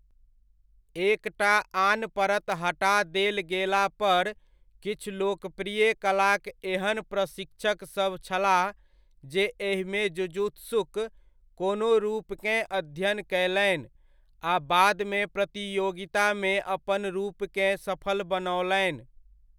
एक टा आन परत हटा देल गेलापर, किछु लोकप्रिय कलाक एहन प्रशिक्षकसभ छलाह जे एहिमे जुजुत्सुक कोनो रूपकेँ अध्ययन कयलनि आ बादमे प्रतियोगितामे अपन रूपकेँ सफल बनौलनि।